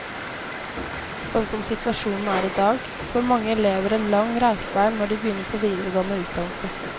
Sånn som situasjonen er i dag, får mange elever en lang reisevei når de begynner på videregående utdannelse.